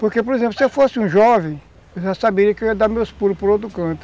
Porque, por exemplo, se eu fosse um jovem, eu já saberia que eu ia dar meus pulos para o outro canto.